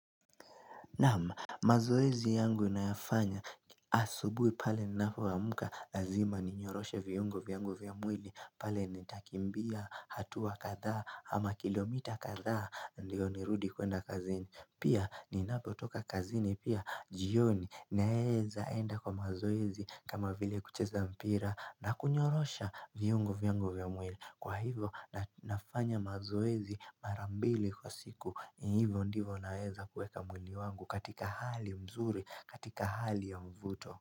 Naam mazoezi yangu ninayafanya asubuhi pale ninapo amka lazima ninyoroshe viungo vyangu vya mwili pale nitakimbia hatua katha ama kilomita kadhaa ndio nirudi kuenda kazini Pia ninapotoka kazini pia jioni naeza enda kwa mazoezi kama vile kucheza mpira na kunyorosha viungo vyangu vya mwili Kwa hivo ni ninafanya mazoezi mara mbili kwa siku hivo ndivyo naeza kuweka mwili wangu katika hali nzuri katika hali ya mvuto.